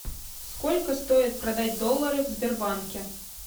сколько стоит продать доллары в сбербанке